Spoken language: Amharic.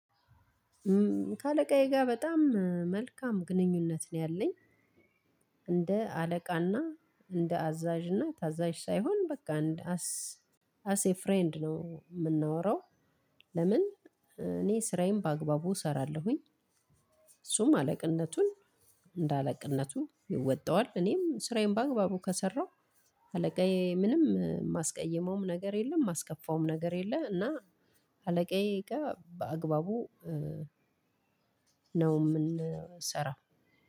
ከአለቃዬ ጋር በጣም መልካም ግንኙነት ነው ያለኝ። እንደ አለቃና እንደ አዛዥና ታዛዥ ሳይሆን በቃ እንደ አስ አስ ኤ ፍሬንድ ነው የምናወራው። ለምን? እኔ ስራዬን በአግባቡ እሰራለሁኝ። እሱም አለቅነቱን እንዳለቅነቱን ይወጣዋል። እኔም ስራዬን በአግባቡ ከሰራሁ አለቃዬ ምንም ማስቀየመውም ነገር የለም የማስከፋውም ነገር የለ እና። አለቃዬ ጋር በአግባቡ ነው ምንሰራው።